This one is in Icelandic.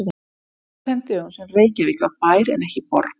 Þetta var á þeim dögum sem Reykjavík var bær en ekki borg.